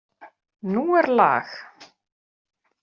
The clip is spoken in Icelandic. Nú er lag!